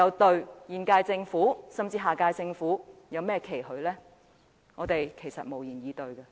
對現屆政府，甚至下屆政府，我們還能有甚麼期許？